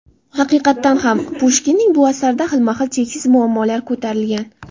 Haqiqatdan ham Pushkinning bu asarida xilma-xil cheksiz muammolar ko‘tarilgan.